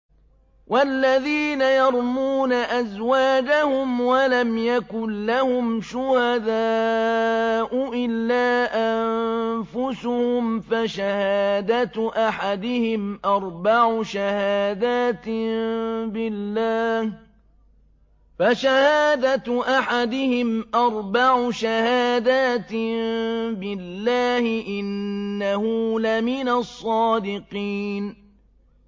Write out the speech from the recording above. وَالَّذِينَ يَرْمُونَ أَزْوَاجَهُمْ وَلَمْ يَكُن لَّهُمْ شُهَدَاءُ إِلَّا أَنفُسُهُمْ فَشَهَادَةُ أَحَدِهِمْ أَرْبَعُ شَهَادَاتٍ بِاللَّهِ ۙ إِنَّهُ لَمِنَ الصَّادِقِينَ